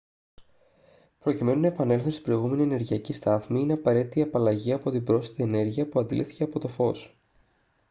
προκειμένου να επανέλθουν στην προηγούμενη ενεργειακή στάθμη είναι απαραίτητη η απαλλαγή από την πρόσθετη ενέργεια που αντλήθηκε από το φως